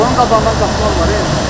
Bu qapının dalında qaz var e.